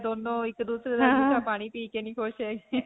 ਦੋਨੋਂ ਇੱਕ-ਦੂਸਰੇ ਦਾ ਜੂਠਾ ਪਾਣੀ ਪੀ ਕੇ ਨਹੀਂ ਖੁਸ਼ ਹੈ.